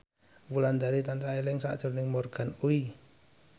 Wulandari tansah eling sakjroning Morgan Oey